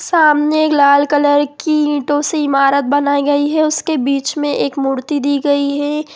सामने एक लाल कलर की ईटो से इमारत बनाई गई है उसके बीच मे एक मूर्ति दी गई है।